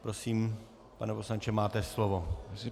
Prosím, pane poslanče, máte slovo.